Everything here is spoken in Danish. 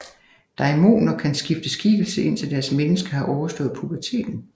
Daimoner kan skifte skikkelse indtil deres menneske har overstået puberteten